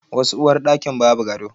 Wasu uwarɗakin ba bu gado.